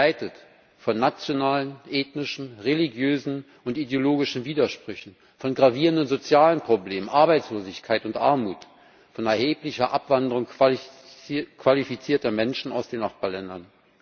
Begleitet von nationalen, ethnischen, religiösen und ideologischen Widersprüchen, von gravierenden sozialen Problemen, Arbeitslosigkeit und Armut, von erheblicher Abwanderung qualifizierter Menschen aus den Nachbarländern.